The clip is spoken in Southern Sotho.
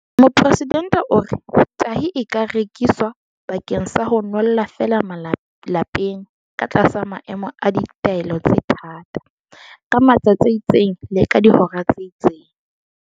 Mopresidente o re, "Tahi e ka rekiswa bakeng sa ho nwella feela lapeng ka tlasa maemo a ditaelo tse thata, ka matsatsi a itseng le ka dihora tse itseng."